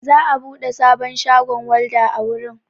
Za'a buɗe sabon shagon walda a wurin.